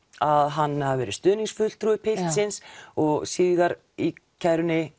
að hann hafi verið stuðningsfulltrúi piltsins og síðar í kærunni